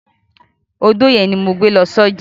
Odó yẹn ni mo gbé lọ sọ́jà.